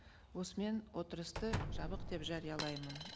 осымен отырысты жабық деп жариялаймын